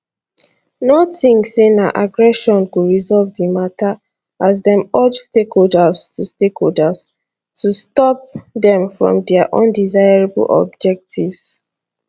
no tink say na aggression go resolve di mata as dem urge stakeholders to stakeholders to stop dem from dia undesirable objectives